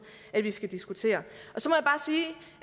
at vi skal diskutere